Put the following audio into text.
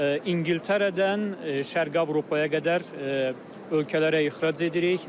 İngiltərədən Şərqi Avropaya qədər ölkələrə ixrac edirik.